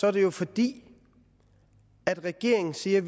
er det jo fordi regeringen siger